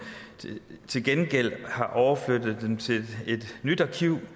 til gengæld har overflyttet dem til et nyt arkiv